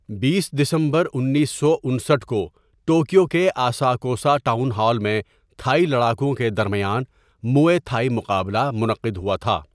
بیس دسمبر انیس سو انستھ کو ٹوکیو کے آساکوسا ٹاؤن ہال میں تھائی لڑاکوؤں کے درمیان موئے تھائی مقابلہ منعقد ہوا تھا۔